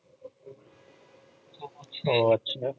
ও আচ্ছা